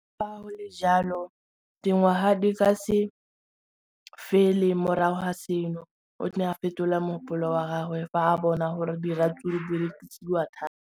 Le fa go le jalo, dingwaga di se kae fela morago ga seno, o ne a fetola mogopolo wa gagwe fa a bona gore diratsuru di rekisiwa thata.